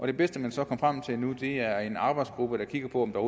det bedste man så kom frem til nu er en arbejdsgruppe der kigger på om der